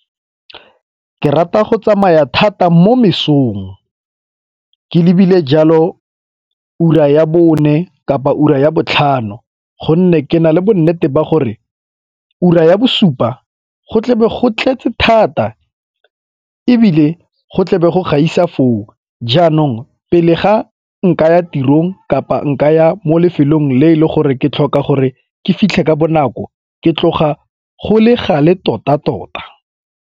Ke rata go tsamaya thata mo mesong ke ebile jalo ura ya bone kapa ura ya botlhano gonne ke na le bonnete ba gore ura ya bosupa go tlebe go tletse thata ebile go tlebe go gaisa foo. Jaanong pele ga nkaya tirong kapa nkaya mo lefelong le e le gore ke tlhoka gore ke fitlhe ka bonako ke tloga go le gale tota-tota.